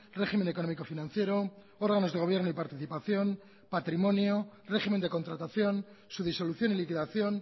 régimen económico financiero órganos de gobierno y participación patrimonio régimen de contratación su disolución y liquidación